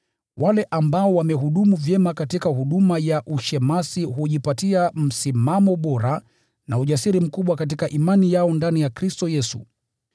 Wale ambao wamehudumu vyema katika huduma ya ushemasi hujipatia msimamo bora na ujasiri mkubwa katika imani yao ndani ya Kristo Yesu.